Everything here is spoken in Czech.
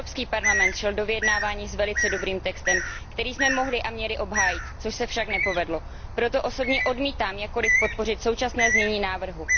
Evropský parlament šel do vyjednávání s velice dobrým textem, který jsme mohli a měli obhájit, což se však nepovedlo. Proto osobně odmítám jakkoliv podpořit současné znění návrhu.